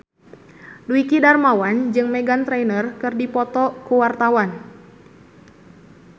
Dwiki Darmawan jeung Meghan Trainor keur dipoto ku wartawan